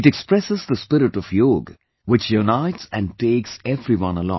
It expresses the spirit of Yoga, which unites and takes everyone along